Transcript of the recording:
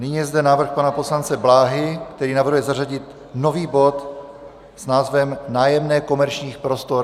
Nyní je zde návrh pana poslance Bláhy, který navrhuje zařadit nový bod s názvem Nájemné komerčních prostor.